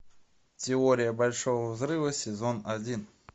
теория большого взрыва сезон один